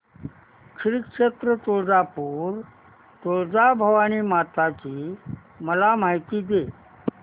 श्री क्षेत्र तुळजापूर तुळजाभवानी माता ची मला माहिती दे